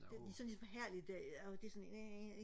de sådan ligesom forhærdet det og det er sådan øh